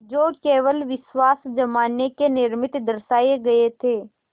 जो केवल विश्वास जमाने के निमित्त दर्शाये गये थे